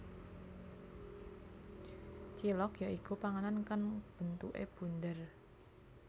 Cilok ya iku panganan kang bentuke bunder